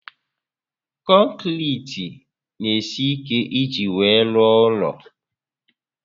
Konkiriti n'esi ike iji wee rụọ ụlọ